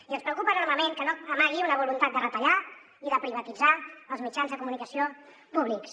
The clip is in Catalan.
i ens preocupa enormement que no amagui una voluntat de retallar i de privatitzar els mitjans de comunicació públics